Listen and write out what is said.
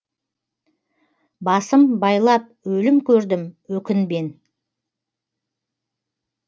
басым байлап өлім көрдім өкінбен